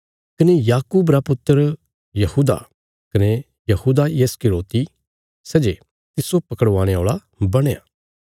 कने याकूब रा पुत्र यहूदा कने यहूदा इस्करियोति सै जे तिस्सो पकड़वाणे औल़ा बणया